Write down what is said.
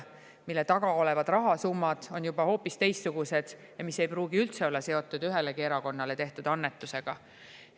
Sellise taga olevad rahasummad on juba hoopis teistsugused ja need ei pruugi üldse olla seotud ühelegi erakonnale tehtud annetusega.